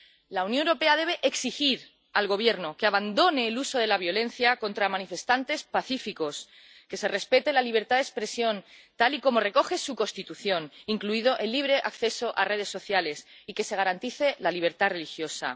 La Unión Europea debe exigir al Gobierno que abandone el uso de la violencia contra manifestantes pacíficos, que se respete la libertad de expresión, tal y como recoge su Constitución —incluido el libre acceso a redes sociales—, y que se garantice la libertad religiosa.